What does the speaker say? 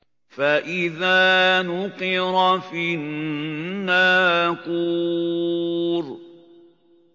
فَإِذَا نُقِرَ فِي النَّاقُورِ